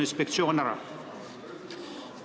Aitäh!